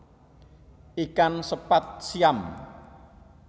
Ikan sepat siam